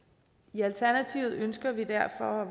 i alternativet ønsker vi derfor